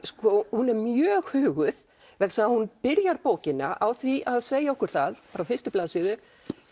hún er mjög huguð vegna þess að hún byrjar bókina á því að segja okkur það bara á fyrstu blaðsíðu